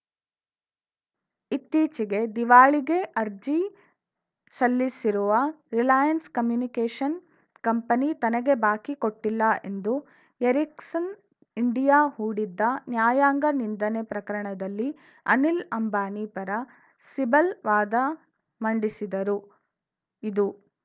ಇತ್ತೀಚೆಗೆ ದಿವಾಳಿಗೆ ಅರ್ಜಿ ಸಲ್ಲಿಸಿರುವ ರಿಲಯನ್ಸ್‌ ಕಮ್ಯುನಿಕೇಷನ್ ಕಂಪನಿ ತನಗೆ ಬಾಕಿ ಕೊಟ್ಟಿಲ್ಲ ಎಂದು ಎರಿಕ್ಸನ್‌ ಇಂಡಿಯಾ ಹೂಡಿದ್ದ ನ್ಯಾಯಾಂಗ ನಿಂದನೆ ಪ್ರಕರಣದಲ್ಲಿ ಅನಿಲ್‌ ಅಂಬಾನಿ ಪರ ಸಿಬಲ್‌ ವಾದ ಮಂಡಿಸಿದರು ಇದು